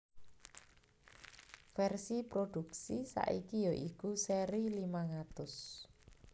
Vèrsi prodhuksi saiki ya iku sèri limang atus